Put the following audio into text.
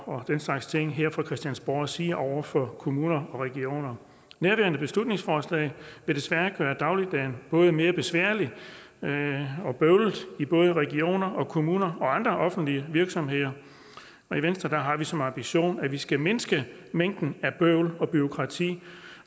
og den slags ting her fra christiansborgs side over for kommuner og regioner nærværende beslutningsforslag vil desværre gøre dagligdagen både mere besværlig og bøvlet i både regioner og kommuner og andre offentlige virksomheder og i venstre har vi som ambition at vi skal mindske mængden af bøvl og bureaukrati